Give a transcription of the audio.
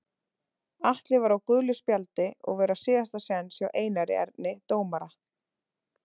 Atli var á gulu spjaldi og var á síðasta séns hjá Einari Erni dómara.